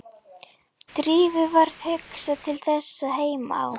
Drífu varð hugsað til þess að heima á